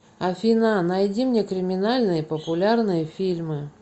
афина найди мне криминальные популярные фильмы